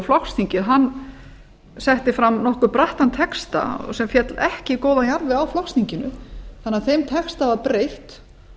flokksþingið setti fram nokkuð brattan texta sem féll ekki í góðan jarðveg á flokksþinginu þannig að þeim texta var breytt